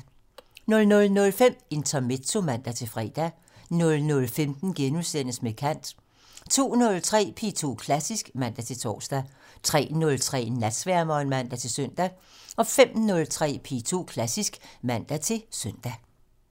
00:05: Intermezzo (man-fre) 00:15: Med kant * 02:03: P2 Klassisk (man-tor) 03:03: Natsværmeren (man-søn) 05:03: P2 Klassisk (man-søn)